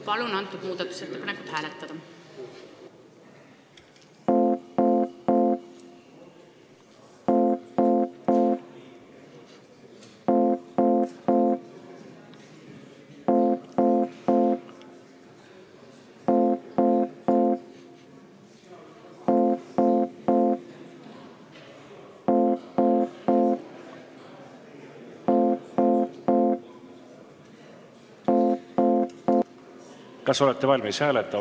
Palun seda muudatusettepanekut hääletada!